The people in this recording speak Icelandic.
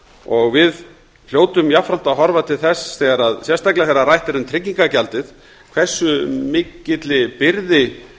og við hljótum jafnframt að horfa til þess sérstaklega þegar rætt er um tryggingagjaldið hversu mikilli byrði